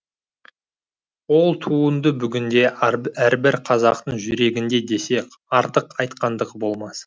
ол туынды бүгінде әрбір қазақтың жүрегінде десек артық айтқандық болмас